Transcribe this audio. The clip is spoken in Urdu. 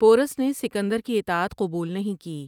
پورس نے سکندر کی اطاعت قبول نہیں کی ۔